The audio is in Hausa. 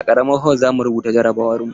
A karamar hol zamu rubuta jarabawar mu.